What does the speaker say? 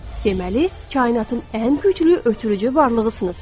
Deməli kainatın ən güclü ötürücü varlığısınız.